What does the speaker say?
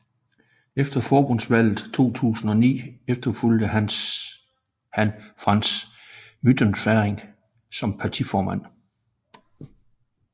Efter forbundsdagsvalget 2009 efterfulgte han Franz Müntefering som partiformand